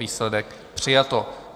Výsledek: přijato.